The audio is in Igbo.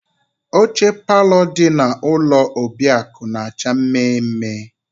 Oche palọ dị na ụlọ Obiakụ na-acha mme mme.